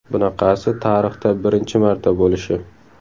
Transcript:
Bunaqasi tarixda birinchi marta bo‘lishi!